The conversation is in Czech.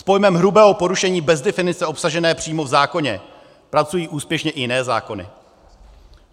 S pojmem hrubého porušení bez definice obsažené přímo v zákoně pracují úspěšně i jiné zákony.